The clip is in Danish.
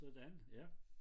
Sådan ja